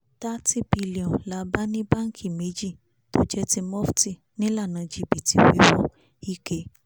n30bn la bá ní báńkì méjì tó jẹ́ ti mofti nílànà jìbìtì wíwo ike